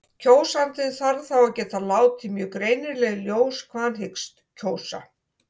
Kjósandi þarf þá að geta látið mjög greinilega í ljós hvað hann hyggst kjósa.